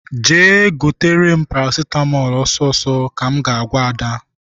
Jee gotere m paracetamol ọsọ ọsọ! ka m ga agwa Ada.